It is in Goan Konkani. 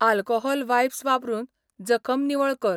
आल्कोहॉल वाइप्स वापरून जखम निवळ कर.